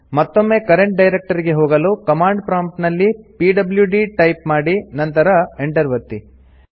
ಮತ್ತೊಮ್ಮೆ current directory ಗೆ ಹೋಗಲು ಕಮಾಂಡ್ ಪ್ರಾಂಪ್ಟ್ ನಲ್ಲಿ ಪಿಡ್ಲ್ಯೂಡಿ ಟೈಪ್ ಮಾಡಿ ನಂತರ Enter ಒತ್ತಿ